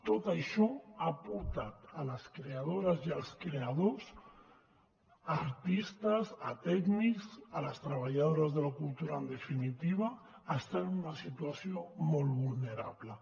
tot això ha portat les creadores i els creadors artistes tècnics les treballadores de la cultura en definitiva a estar en una situació molt vulnerable